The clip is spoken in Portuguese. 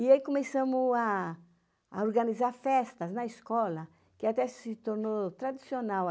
E aí começamos a organizar festas na escola, que até se tornou tradicional.